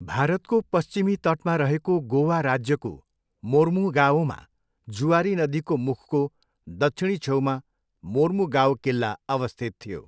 भारतको पश्चिमी तटमा रहेको गोवा राज्यको मोर्मुगाओमा जुआरी नदीको मुखको दक्षिणी छेउमा मोर्मुगाओ किल्ला अवस्थित थियो।